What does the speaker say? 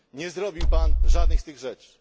Nie zrobił Pan żadnej z tych rzeczy.